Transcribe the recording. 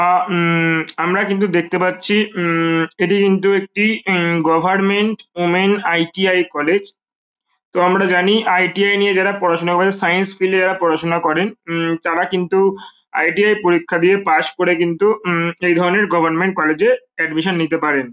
আ উম আমরা কিন্তু দেখতে পাচ্ছি উম এটি কিন্তু উম একটি government women I .T .I. College তো আমরা জানি আই. টি. আই. নিয়ে যারা পড়াশোনা করে সাইন্স ফিলে -এ যারা পড়াশোনা করে উম তারা কিন্তু আই. টি. আই. পরীক্ষা দিয়ে পাস্ করে উম এই ধরনের গভর্মেন্ট কলেজ -এ এডমিশন নিতে পারেন।